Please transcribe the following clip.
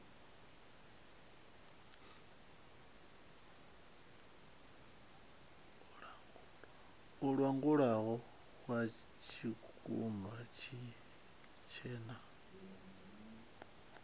muḽagalu wo vhoxwa tshikumba tshitshena